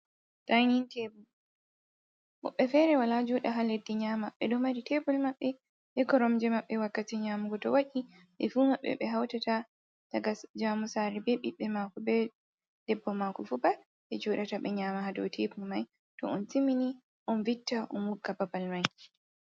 Dainin tebul. Moɓbe fere wala joɗa ha leɗɗi nyama. Beɗo mari tebol mabbe be koromje mabbe to wakkati nyamugo to waɗi be fu mabbe be hautata, daga jamu sare be bibbe mako be debbo mako fu bat, be joɗata be nyama ha ɗow tebul mai. To on timini on vitta on vogga babal mai.